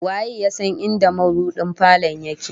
Waye ya san inda mabudin falon yake?